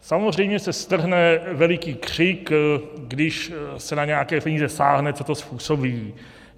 Samozřejmě se strhne veliký křik, když se na nějaké peníze sáhne, co to způsobí.